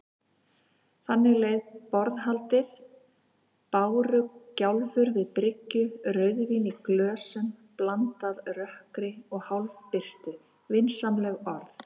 Þannig leið borðhaldið: bárugjálfur við bryggju, rauðvín í glösum, blandað rökkri og hálfbirtu, vinsamleg orð.